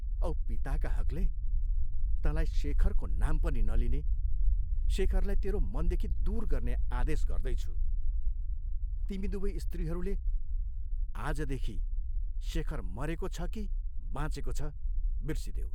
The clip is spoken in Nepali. औ पिताका हकले तँलाई शेखरको नाम पनि नलिने, शेखरलाई तेरो मनदेखि दूर गर्ने आदेश गर्दैछु तिमी दुवै स्त्रीहरूले आजदेखि शेखर मरेको छ कि बाँचेको छ, बिर्सिदेऊ।